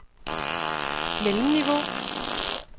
mellemniveau